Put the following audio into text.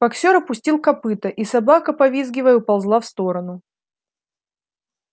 боксёр опустил копыто и собака повизгивая уползла в сторону